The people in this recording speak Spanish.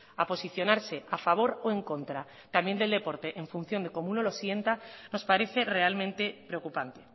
a posicionarse a favor o en contra también del deporte en función de cómo uno lo sienta nos parece realmente preocupante